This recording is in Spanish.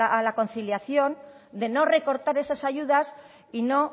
a la conciliación de no recortar esas ayudas y no